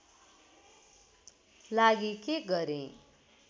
लागि के गरेँ